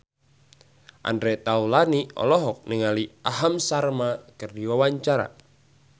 Andre Taulany olohok ningali Aham Sharma keur diwawancara